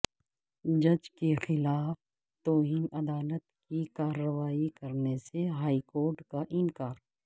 جج کے خلاف توہین عدالت کی کارروائی کرنے سے ہائی کورٹ کا انکار